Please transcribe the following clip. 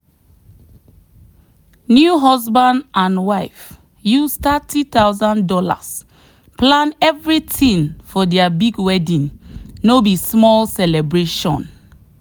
new husband and wife use three thousand dollars0 plan everything for their big wedding no be small celebration.